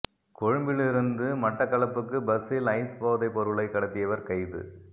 கொழும்பிலிருந்து மட்டக்களப்புக்கு பஸ்ஸில் ஐஸ் போதைப் பொருளைக் கடத்தியவர் கைது